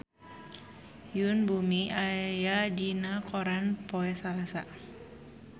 Yoon Bomi aya dina koran poe Salasa